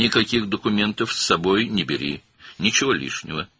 Yanına heç bir sənəd götürmə, artıq heç nə.